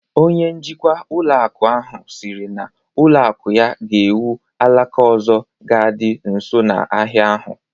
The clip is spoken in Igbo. Onye njikwa ụlọ akụ ahụ siri na ụlọ akụ ya ga-ewu alaka ọzọ ga dị nso na ahịa ahụ